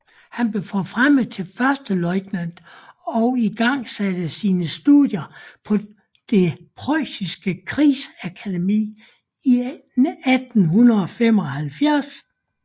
Han blev forfremmet til førsteløjtnant og igangsatte sine studier på det Prøjsiske Krigsakademi i 1875